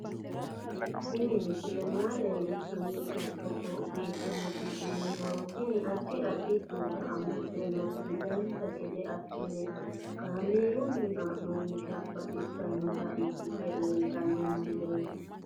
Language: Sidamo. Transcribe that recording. Tini misile maa leellishshannote togo biiffinoti yinummoro tini. addi addi kuula amadde nooti dancha gede assine kaamerunni haa'noonniti baxissannota ikkite leeltanno misileeti